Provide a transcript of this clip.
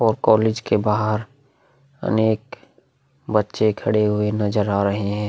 और कॉलेज के बाहार अनेक बच्चे खड़े हुए नजर आ रहे हैं।